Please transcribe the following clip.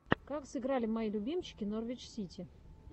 как сыграли мои любимчики норвич сити